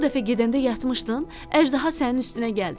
o dəfə gedəndə yatmışdın, əjdaha sənin üstünə gəldi.